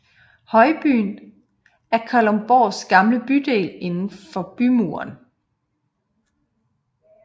Højbyen er Kalundborgs gamle bydel indenfor bymuren